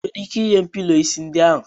Ị nwere ike nye m pilọ isi ndị ahu?